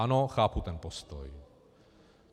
Ano, chápu ten postoj.